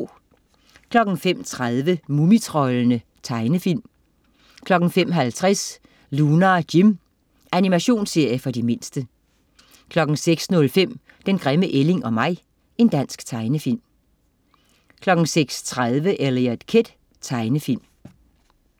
05.30 Mumitroldene. Tegnefilm 05.50 Lunar Jim. Animationsserie for de mindste 06.05 Den grimme ælling og mig. Dansk tegnefilm 06.30 Eliot Kid. Tegnefilm